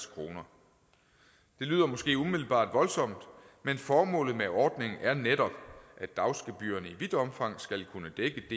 kroner det lyder måske umiddelbart voldsomt men formålet med ordningen er netop at dagsgebyrerne i vidt omfang skal kunne dække